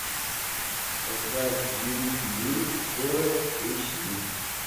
поставь великий день кора эйч ди